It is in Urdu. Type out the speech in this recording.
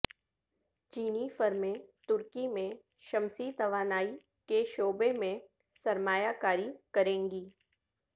چینی فرمیں ترکی میں شمسی توانائی کے شعبے میں سرمایہ کاری کریں گی